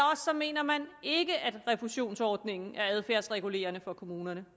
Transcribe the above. mener man ikke at refusionsordningen er adfærdsregulerende for kommunerne